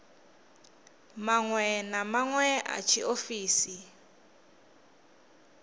maṅwe na maṅwe a tshiofisi